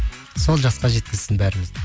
сол жасқа жеткізсін бәрімізді